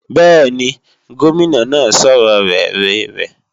Bẹ́ẹ̀ni, Gómìnà náà sọ̀rọ̀ rere rẹ̀